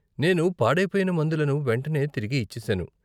నేను పాడైపోయిన మందులను వెంటనే తిరిగి ఇచ్చేశాను.